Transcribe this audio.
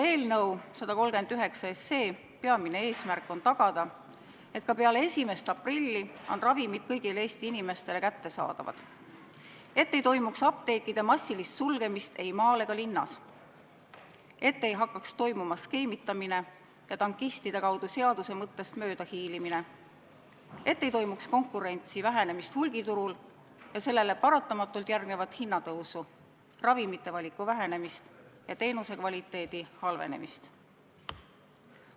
Eelnõu 139 peamine eesmärk on see, et ka peale 1. aprilli oleks ravimid kõigile Eesti inimestele kättesaadavad, et ei toimuks apteekide massilist sulgemist ei maal ega linnas, et ei hakkaks toimuma skeemitamine ja tankistide kaudu seaduse mõttest möödahiilimine, et ei oleks konkurentsi vähenemist hulgiturul ja sellele paratamatult järgnevat hinnatõusu, ravimite valiku vähenemist ja teenuse kvaliteedi halvenemist.